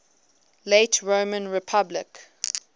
late roman republic